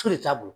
t'a bolo